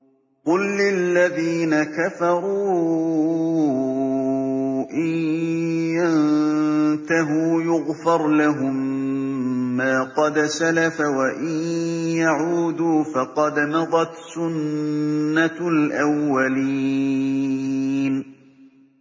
قُل لِّلَّذِينَ كَفَرُوا إِن يَنتَهُوا يُغْفَرْ لَهُم مَّا قَدْ سَلَفَ وَإِن يَعُودُوا فَقَدْ مَضَتْ سُنَّتُ الْأَوَّلِينَ